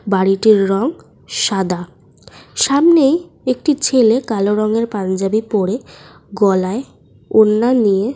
বাড়িটির রং সাদা। সামনেই একটি ছেলে কালো রঙের পাঞ্জাবি পরে গলায় ওড়না নিয়ে।